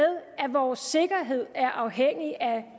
at vores sikkerhed er afhængig af